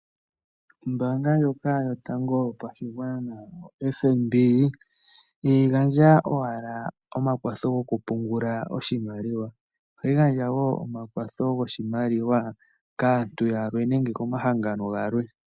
Ombaanga ndjoka yotango yopashigwana yoFNB ihaya gandja owala omakwatho gokupungula oshimaliwa, ohayi gandja wo omakwatho goshimaliwa kaantu yalwe, nenge komahangano galwe.